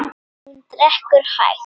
Hún drekkur hægt.